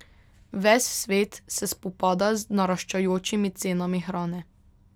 Ves svet se spopada z naraščajočimi cenami hrane.